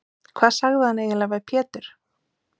Hvað sagði hann eiginlega við Pétur?